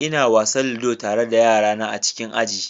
Ina wasan ludo tare da yarana a cikin aji.